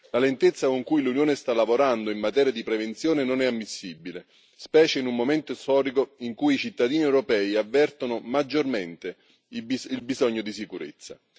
La lentezza con cui l'Unione sta lavorando in materia di prevenzione non è ammissibile, specie in un momento storico in cui i cittadini europei avvertono maggiormente il bisogno di sicurezza.